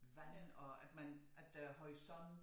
Vand og at man at der er horisont